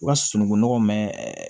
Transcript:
U ka sununkun nɔgɔ mɛ